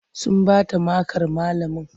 Sun bata makar malamin.